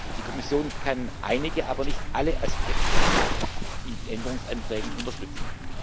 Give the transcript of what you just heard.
Die Kommission kann einige aber nicht alle Aspekte in den Änderungsanträgen unterstützen.